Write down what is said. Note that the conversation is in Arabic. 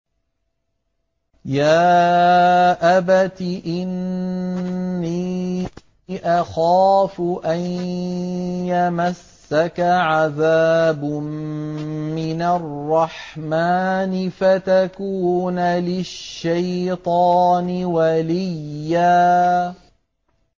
يَا أَبَتِ إِنِّي أَخَافُ أَن يَمَسَّكَ عَذَابٌ مِّنَ الرَّحْمَٰنِ فَتَكُونَ لِلشَّيْطَانِ وَلِيًّا